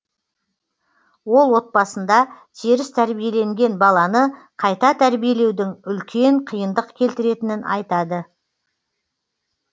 ол отбасында теріс тәрбиеленген баланы қайта тәрбиелеудің үлкен қиындық келтіретінін айтады